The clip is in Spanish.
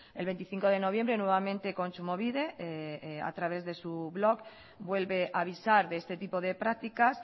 el veinticinco de noviembre nuevamente kontsumobide a través de su blog vuelve a avisar de este tipo de prácticas